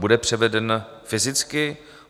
Bude převeden fyzicky?